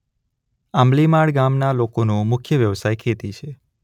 આંબલીમાળ ગામના લોકોનો મુખ્ય વ્યવસાય ખેતી છે.